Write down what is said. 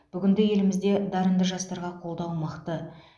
бүгінде елімізде дарынды жастарға қолдау мықты